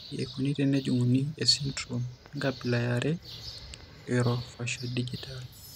Kaji eikoni tenejung'uni esindirom enkabila eare eOrofaciodigital?